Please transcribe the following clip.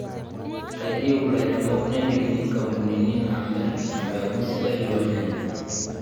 Keyieu lairemok nelikini nkampunini naamir epmeku sidai oo ilnyanya